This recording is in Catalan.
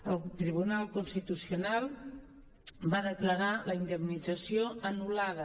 el tribunal constitucional va declarar la indemnització anul·lada